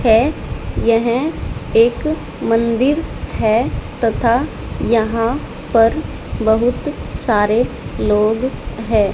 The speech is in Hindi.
है यह एक मंदिर है तथा यहां पर बहुत सारे लोग हैं।